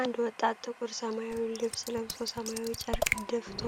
አንድ ወጣት ጥቁር ሰማያዊ ልብስ ለብሶ ሰማያዊ ጨርቅ ደፍቶ